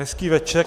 Hezký večer.